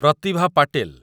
Pratibha Patil